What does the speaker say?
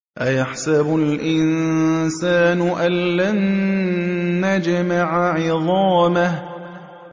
أَيَحْسَبُ الْإِنسَانُ أَلَّن نَّجْمَعَ عِظَامَهُ